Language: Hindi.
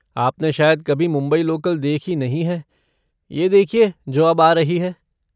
आपने शायद कभी मुंबई लोकल देखी नहीं है, ये देखिये जो अब आ रही है।